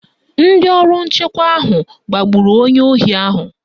Ndị ọrụ nchekwa ahụ gbagburu onye ohi ahụ.